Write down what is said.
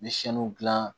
N bɛ siyɛnni dilan